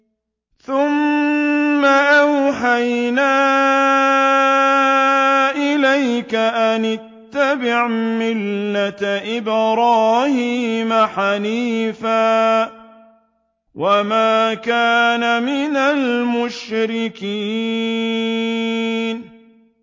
ثُمَّ أَوْحَيْنَا إِلَيْكَ أَنِ اتَّبِعْ مِلَّةَ إِبْرَاهِيمَ حَنِيفًا ۖ وَمَا كَانَ مِنَ الْمُشْرِكِينَ